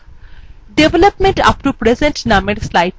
development up to present named slidethe নির্বাচন করুন